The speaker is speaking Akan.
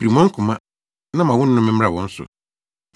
Pirim wɔn koma, na ma wo nnome mmra wɔn so.